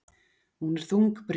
Hún er þungbrýn.